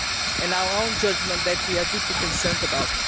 and our own judgement, that we are deeply concerned about.